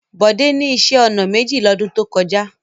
Bọ̀dé ní iṣẹ́-ọnà méjì lọ́dún tó kọjá.